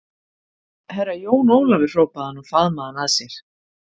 Herra Jón Ólafur hrópaði hann og faðmaði hann að sér.